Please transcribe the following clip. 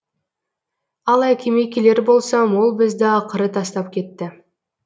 ал әкеме келер болсам ол бізді ақыры тастап кетті